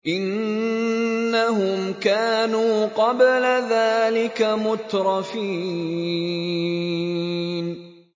إِنَّهُمْ كَانُوا قَبْلَ ذَٰلِكَ مُتْرَفِينَ